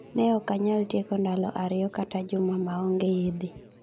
Ne okanyal tieko ndalo ariyo kata juma maonge yedhe.